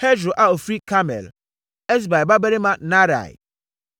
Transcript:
Hesro a ɔfiri Karmel; Esbai babarima Naarai.